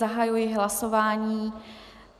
Zahajuji hlasování.